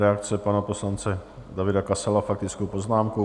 Reakce pana poslance Davida Kasala faktickou poznámkou.